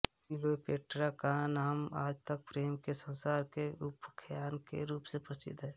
Cleopatra का नाम आज तक प्रेम के संसार में उपाख्यान के रूप में प्रसिद्ध है